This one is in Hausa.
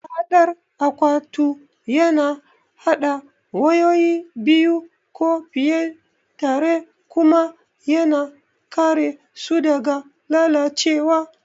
Mahaɗar akwatu yana haɗa wayoyi biyu ko fiye tare kuma yana kare su daga lalacewa.